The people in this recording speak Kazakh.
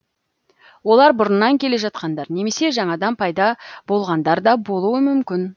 олар бұрыннан келе жатқандар немесе жаңадан пайда болғандар да болуы мүмкін